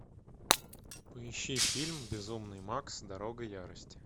поищи фильм безумный макс дорога ярости